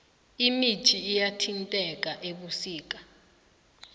imithi iyathintheka ebusika